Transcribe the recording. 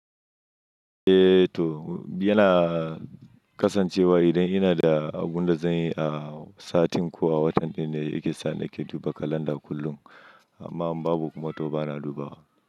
Eh to, yana kasancewa idan ina da abun da zan yi a satin ko a watan ɗin ne yake sa nake duba kalanda kullum. Amma in babu kuma to bana dubawa.